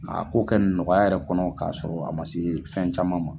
K'a ko kɛ nɔgɔya yɛrɛ kɔnɔ k'a sɔrɔ a ma se fɛn caman ma.